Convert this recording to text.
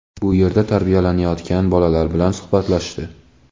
bu yerda tarbiyalanayotgan bolalar bilan suhbatlashdi.